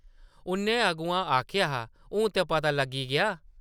उʼन्नै अग्गूं आखेआ हा, ‘‘हून ते पता लग्गी गेआ ।’’